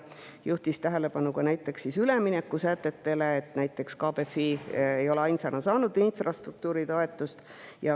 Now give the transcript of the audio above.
Ta juhtis tähelepanu näiteks üleminekusätetele ja sellele, et KBFI ei ole ainsana saanud infrastruktuuritoetust.